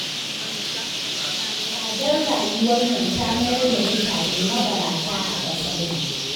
Tsadar rayuwar nan ta mayar da mutane mabarata a ƙasar nan